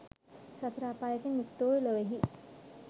සතර අපායකින් යුක්ත වූ ලොවෙහි